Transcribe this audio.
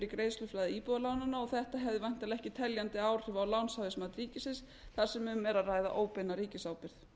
í greiðsluflæði íbúðalánanna og þetta hefði væntanlega ekki teljandi áhrif á lánshæfismat ríkisins þar sem um er að ræða óbeina ríkisábyrgð